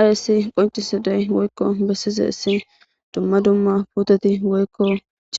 ayssi qoncisidey woykko bessize issi dumma dumma puteti woykko